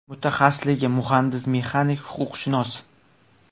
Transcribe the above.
Mutaxassisligi muhandis-mexanik, huquqshunos.